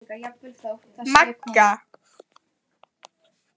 Magga